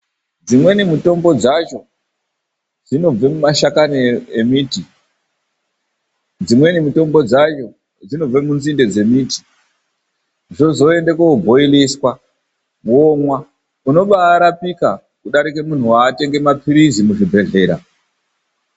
Dzimweni mitombo dzacho dzinobva mumashakanyi emiti, dzimweni mutombo dzacho dzinobva munzinde dzemiti. Zvozoenda kookwatiswa womwa, unobaarapika kudarika muntu watenga maphirizi kuchibhedhlera.